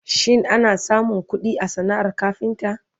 shin ana samun ƙuɗi a sanaar kafinta?